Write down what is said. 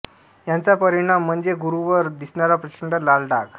याचा परिणाम म्हणजे गुरूवर दिसणारा प्रचंड लाल डाग